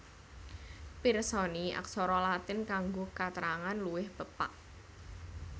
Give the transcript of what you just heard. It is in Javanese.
Pirsani Aksara Latin kanggo katrangan luwih pepak